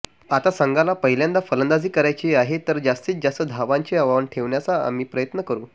आता संघाला पहिल्यांदा फलंदाजी करायची आहे तर जास्ती जास्त धावांचे आव्हान ठेवण्याचा आम्ही प्रयत्न करू